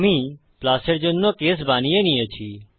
আমি প্লাস এর জন্য কেস বানিয়ে নিয়েছি